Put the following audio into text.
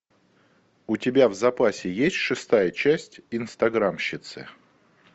у тебя в запасе есть шестая часть инстаграмщицы